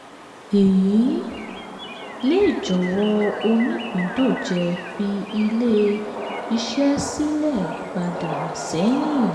eyi um lè jọ̀wọ́ onípindòjé fi ilé-iṣẹ́ silẹ̀ padà sẹ́yìn.